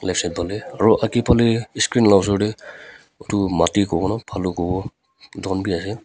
ashitoli aru agae phale inscreen laga osor tae etu mati kovo na balu kovo etu khan as --